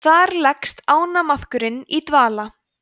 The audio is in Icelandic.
þar leggst ánamaðkurinn í dvala